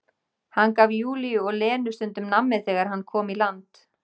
Hann gaf Júlíu og Lenu stundum nammi þegar hann kom í land.